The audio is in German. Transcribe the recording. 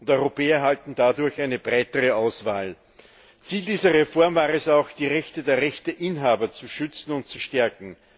Europäer erhalten dadurch eine breitere Auswahl. Ziel dieser Reform war es auch, die Rechte der Rechteinhaber zu schützen und zu stärken.